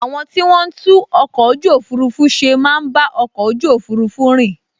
Àwọn tí wọ́n n tún ọkọ̀ ojú òfurufú ṣe máa n bá ọkọ̀ ojú òfurufú rìn